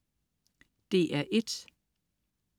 DR1: